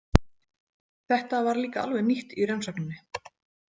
Þetta var líka alveg nýtt í rannsókninni.